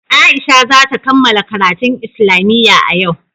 Aisha za ta kammala karatun islamiyya a yau.